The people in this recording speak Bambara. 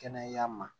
Kɛnɛya ma